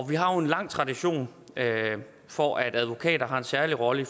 vi har jo en lang tradition for at advokater har en særlig rolle i